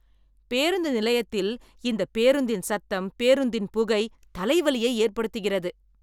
பேருந்து நிலையத்தில் இந்த பேருந்தின் சத்தம் பேருந்தின் புகை தலை வலியை ஏற்படுத்துகிறது.